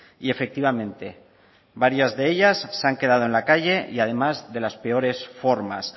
y efectivamente varias de ellas se han quedado en la calle y además de las peores formas